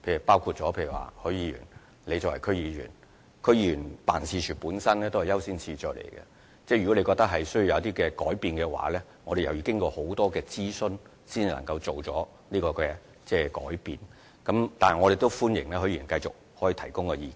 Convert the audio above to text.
例如許議員作為區議員，區議員辦事處本身亦有其優先次序，如果他覺得需要作出一些改變，我們須經過很多諮詢才能夠作出有關改變，但我歡迎許議員繼續提供意見。